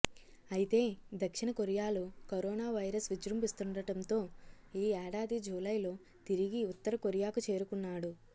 అయితే దక్షిణ కొరియాలో కరోనావైరస్ విజృంభిస్తుండటంతో ఈ ఏడాది జూలైలో తిరిగి ఉత్తరకొరియాకు చేరుకున్నాడు